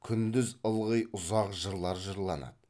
күндіз ылғи ұзақ жырлар жырланады